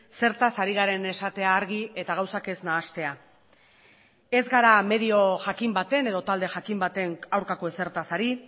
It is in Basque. zertaz ari garen esatea argi eta gauzak ez nahastea ez gara medio jakin baten edo talde jakin baten aurkako ezertaz ari